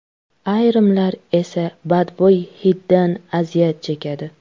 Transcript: Ayrimlar esa badbo‘y hiddan aziyat chekadi.